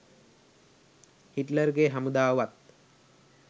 හිට්ලර්ගෙ හමුදාව වත්